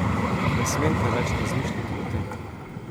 Ne smem preveč razmišljati o tem.